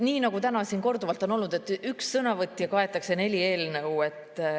Nii nagu täna siin korduvalt on olnud, katab üks sõnavõtja neli eelnõu.